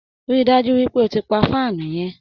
Rí i dájú pé o ti pa fáànù yẹ!